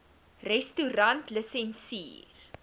restaurantlisensier